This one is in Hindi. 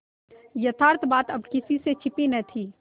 यथार्थ बात अब किसी से छिपी न थी